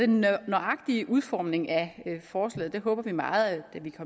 den nøjagtige udformning af forslaget håber vi meget at vi kan